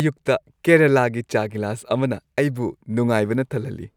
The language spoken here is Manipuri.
ꯑꯌꯨꯛꯇ ꯀꯦꯔꯂꯥꯒꯤ ꯆꯥ ꯒꯤꯂꯥꯁ ꯑꯃꯅ ꯑꯩꯕꯨ ꯅꯨꯡꯉꯥꯏꯕꯅ ꯊꯜꯍꯜꯂꯤ꯫